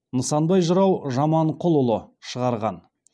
нысанбай жырау жаманқұлұлы шығарған